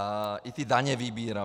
A i ty daně vybírám.